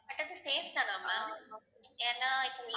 but அது safe தானா ma'am ஏன்னா இப்ப